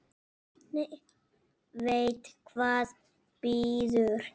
Veit hvað bíður.